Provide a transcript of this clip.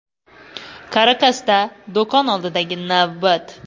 Karakasda do‘kon oldidagi navbat.